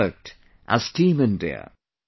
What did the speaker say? We worked as Team India